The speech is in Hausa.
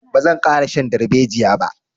Ba zan ƙara shan darbejiya ba.